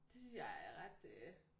Det synes jeg er ret øh